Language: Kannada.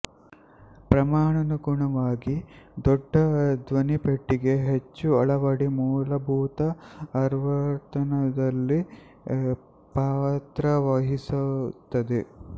ಪ್ರಮಾಣಾನುಗುಣವಾಗಿ ದೊಡ್ಡ ದ್ವನಿಪೆಟ್ಟಿಗೆ ಹೆಚ್ಚು ಆಳದ ಮೂಲಭೂತ ಆವರ್ತನದಲ್ಲಿ ಪಾತ್ರವಹಿಸುತ್ತದೆ